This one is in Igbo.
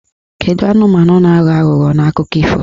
Kedụ anụmanụ na-aghọ aghụghọ n'akụkọ ifo?